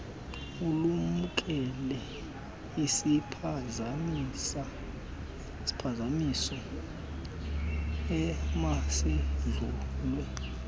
ulumkele isiphazamiso emasidlulwe